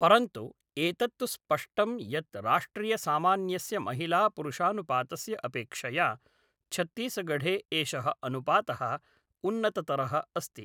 परन्तु एतत् तु स्पष्टं यत् राष्ट्रियसामान्यस्य महिलापुरुषानुपातस्य अपेक्षया छत्तीसगढ़े एषः अनुपात़ः उन्नततरः अस्ति।